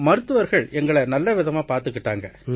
மருத்துவர்கள் எங்களை நல்லவிதமா பார்த்துக்கிட்டாங்க